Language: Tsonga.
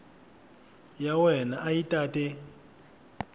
ya wena a yi tate